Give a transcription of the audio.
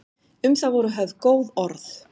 Um það voru höfð góð orð.